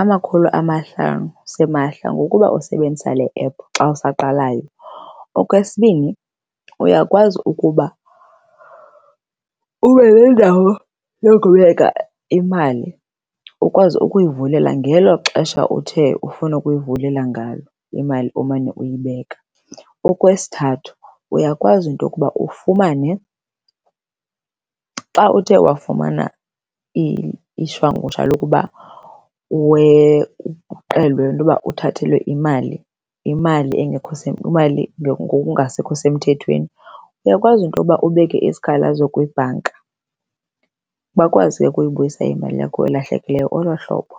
amakhulu amahlanu simahla ngokuba usebenzisa le ephu xa usaqalayo. Okwesibini, uyakwazi ukuba ube nendawo yokubeka imali ukwazi ukuyivulela ngelo xesha uthe ufuna ukuyivulela ngayo imali omane uyibeka. Okwesithathu, uyakwazi into yokuba ufumane xa uthe wafumana ishwangusha lokuba le nto yoba uthathelwe imali, imali engekho imali ngokungasekho semthethweni, uyakwazi into yoba ubeke isikhalazo kwibhanka. Bakwazi ke ukubuyisa imali yakho elahlekileyo olo hlobo.